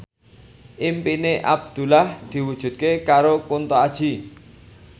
impine Abdullah diwujudke karo Kunto Aji